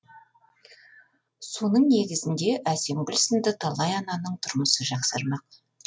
соның негізінде әсемгүл сынды талай ананың тұрмысы жақсармақ